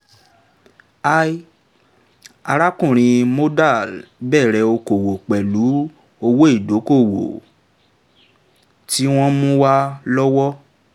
arákùnrin mondal b okòwò pẹ̀lú owó ìdókóòwò tí wọ́n mú wá lọ́wọ́